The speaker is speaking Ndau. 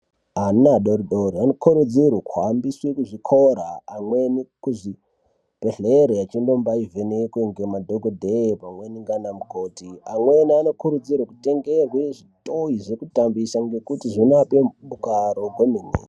Ana adoridori anokurudzirwe kuhambiswe kuzvikora amweni kuzvibhedhlera echinombai vhenekwa nemadhogodheya pamweni ngaana mukoti. Amweni anokurudzirwe kutengerwe zvitoi zvekutambisa ngekuti zvinoape mudakaro kwemene.